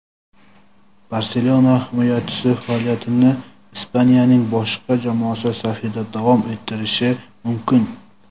"Barselona" himoyachisi faoliyatini Ispaniyaning boshqa jamoasi safida davom ettirishi mumkin;.